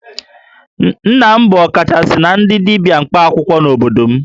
Nna m bụ ọkachasị na ndị dibia mkpaakwụkwọ n'obodo m